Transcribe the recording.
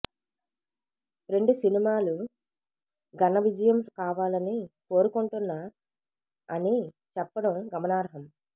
రెండు సినిమా లు ఘనవిజయం కావాలని కోరుకుంటున్న అని చెప్పడం గమనార్హం